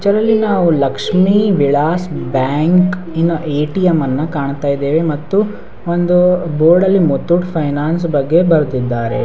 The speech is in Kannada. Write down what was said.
ಚರಲ್ಲಿ ನಾವ್ ಲಕ್ಷ್ಮಿ ವಿಳಾಸ್ ಬ್ಯಾಂಕ್ ಇನ ಏ.ಟಿ.ಎಮ್. ಅನ್ನ ಕಾಣ್ತಾ ಇದ್ದೇವೆ ಮತ್ತು ಒಂದು ಬೋರ್ಡಲ್ಲಿ ಮುತ್ತೂಟ್ ಫೈನ್ಯಾನ್ಸ್ ಬಗ್ಗೆ ಬರ್ದಿದ್ದಾರೆ.